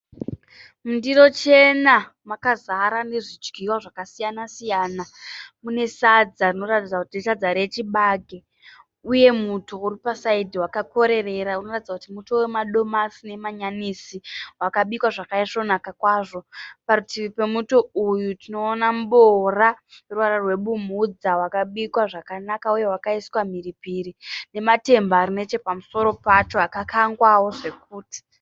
Mundiro chena makazara nezvidyiwa zvakasiyana siyana. Mune sadza rinoratidza kuti isadza rechibage uye muto uri pa(side) wakakorerera unoratidza kuti muto wamadomasi nemanyanisi wakabikwa zvakaisvonaka kwazvo. Parutivi pemuto uyu tinoona muboora uneruvara rwebumhudza wakabikwa zvakanaka uye wakaiswa mhiripiri namatemba arinechepamusoro pacho akakangwawo zvokuti.